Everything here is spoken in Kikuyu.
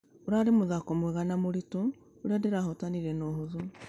Ĩrarĩ mũthako mwega nũ mũritũ ũrĩa ndĩrahũtanire na ũhũthũ.